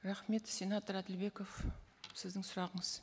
рахмет сенатор әділбеков сіздің сұрағыңыз